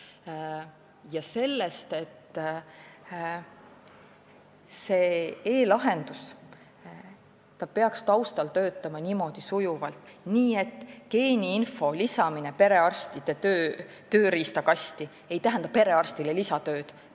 On räägitud ka sellest, et see e-lahendus peaks töötama sujuvalt taustal, nii et geeniinfo lisamine perearsti tööriistakasti ei tähendaks lisatööd.